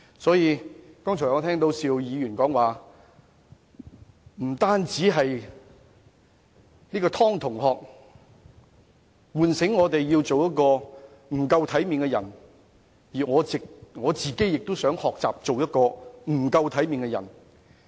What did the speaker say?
我剛才聽到邵議員說，不單湯同學喚醒我們要做一個不夠體面的人，他自己亦想學做一個不夠體面的人。